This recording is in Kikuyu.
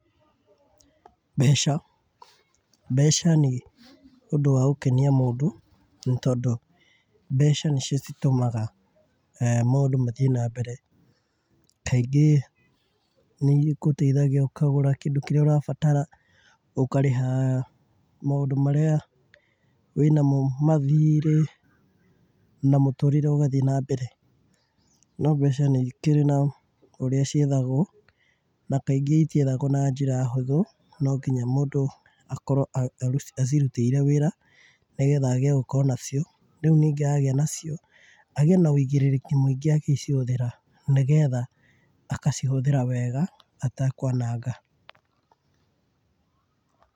Mbeca, mbeca nĩ ũndũ wa gũkenia mũndũ nĩ tondũ mbeca nĩcio citũmaga maũndũ mathiĩ na mbere. Kaingĩ nĩ ĩgũteithagia ũkagũra kĩndũ kĩrĩa ũrabatara, ũkarĩha maũndũ marĩa wĩ namo, mathirĩ na mũtũrĩre ũgathiĩ nambere. No mbeca nĩ ĩkĩrĩ na ũrĩa ciethagwo, na kaingĩ itiethagwo na njĩra hũthũ. Nonginya mũndũ akorwo aciruteire wĩra nĩ getha agĩe gũkorwo nacio. Rĩu ningĩ agĩa nacio, agĩena ũigĩrĩrĩki mũingĩ agĩcihũthĩra nĩ getha agacihũthra wega atekwananga.